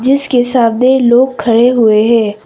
जिसके सामने लोग खड़े हुए हैं।